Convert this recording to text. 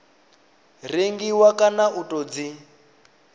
rengiwa kana u tou dzi